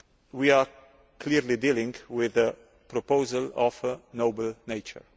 We are clearly dealing with a proposal of a noble nature.